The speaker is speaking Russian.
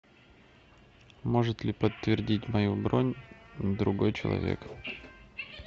может ли подтвердить мою бронь другой человек